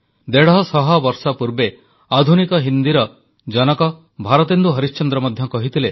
ଦେଢ଼ଶହ ବର୍ଷ ପୂର୍ବେ ଆଧୁନିକ ହିନ୍ଦୀର ଜନକ ଭରତେନ୍ଦୁ ହରିଶ୍ଚନ୍ଦ୍ର ମଧ୍ୟ କହିଥିଲେ